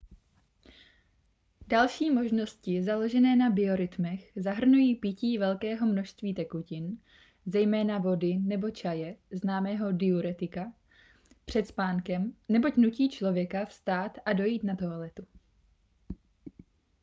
další možnosti založené na biorytmech zahrnují pití velkého množství tekutin zejména vody nebo čaje známého diuretika před spánkem neboť nutí člověka vstát a dojít na toaletu